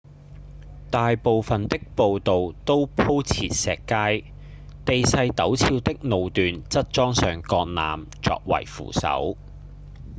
大部分的步道都鋪設石階地勢陡峭的路段則裝上鋼纜作為扶手